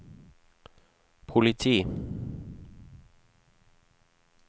politi